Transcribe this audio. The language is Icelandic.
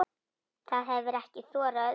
Það hefir ekki þorað öðru.